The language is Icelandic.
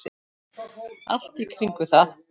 Allt í kringum það.